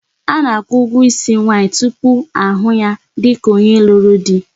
A na-akwụ ụgwọ isi nwaanyị tupu ahụ ya dịka onye lụrụ di.